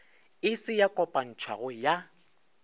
e se ya kopantšhwago ya